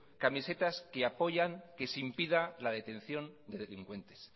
camisetas que apoyan que se impida la detención de delincuentes